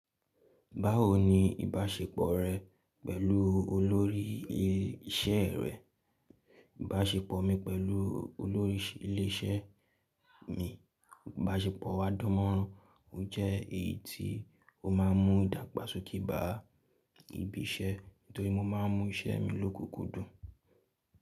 Báwo ni ìbáṣepọ̀ rẹ pẹ̀lú olórí isẹ́ rẹ? Ìbáṣepọ̀ mi pẹ̀lú olórí ilé isẹ́ mi, ìbáṣepọ̀ wa dánmọ́nrán. O jẹ́ èyí tí ó ma ń mú ìdàgbàsókè bá ibi isẹ́, nítorí mo máà ń mú isẹ́ mi lókoòkòó dùn.